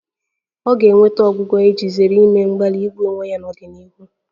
Ọ ga-enweta ọgwụgwọ iji zere ime mgbalị igbu onwe ya n'ọdịnihu